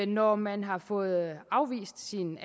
når man har fået afvist sin